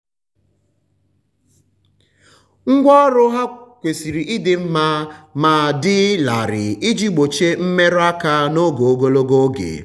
ngwa ọrụ ha kwesiri ịdị mma ma dị larịị iji gbochie mmerụ aka n'oge ogologo oge.